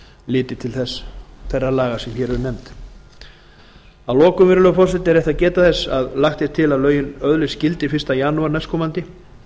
litið til þeirra laga sem hér eru nefnd að lokum virðulegur forseti er rétt að geta þess að lagt er til að lögin öðlist gildi fyrsta janúar næstkomandi